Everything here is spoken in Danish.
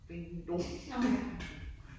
Ding dong ding dong